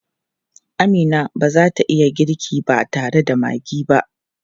Amina ba za ta iya girki ba tare da maggi ba.